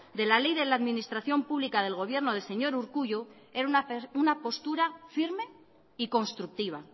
de la ley de la administración pública del gobierno del señor urkullu era una postura firme y constructiva